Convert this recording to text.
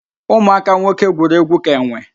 Ụmụaka nwoke gwuru egwu ka enwe